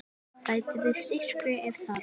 Bætið við sykri ef þarf.